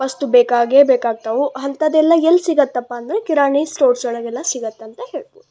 ವಸ್ತು ಬೇಕಾಗಿಯೇ ಬೇಕಾಗ್ತವು ಅಂತದೆಲ್ಲ ಎಲ್ಲಿ ಸಿಗುತ್ತಪ್ಪ ಅಂದರೆ ಕಿರಾಣಿ ಸ್ಟೋರ್ಸ್ ಒಳಗೆಲ್ಲ ಸಿಗುತ್ತೆ ಅಂತ ಹೇಳಬಹುದು.